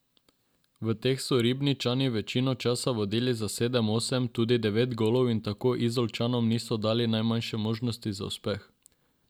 V teh so Ribničani večino časa vodili za sedem, osem, tudi devet golov in tako Izolčanom niso dali najmanjše možnosti za uspeh.